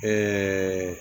Ɛɛ